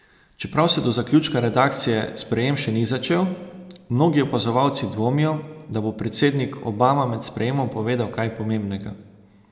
Čeprav se do zaključka redakcije sprejem še ni začel, mnogi opazovalci dvomijo, da bo predsednik Obama med sprejemom povedal kaj pomembnega.